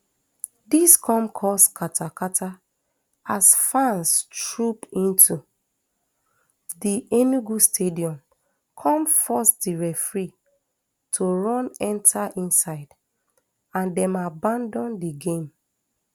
dis come cause katakata as fans troop into di enugu stadium come force di referee to run enta inside and dem abandon di game